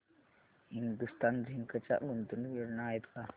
Hindustan Zinc च्या गुंतवणूक योजना आहेत का